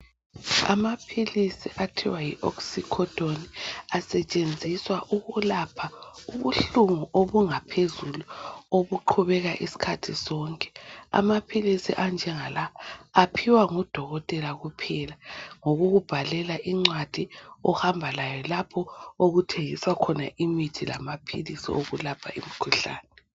Amaphilisi okuthiwa yi Oxcycodone asetshenziswa ukulapha ubuhlungu obungaphezulu obuqhubeka isikhathi sonke. Amaphilisi anjengala aphiwa ngodokotela kuphela ngokukubhalela incwadi ohamba layo lapho okuthengiswa khona imithi lama philisi okulapha imkhuhlane.